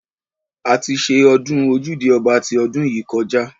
A ti ṣe ọdún ojúde ọba ti ọdún yìí kọjá.